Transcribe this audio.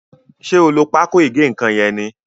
ṣe o ló Pákò ìgé-nǹkan yén ní?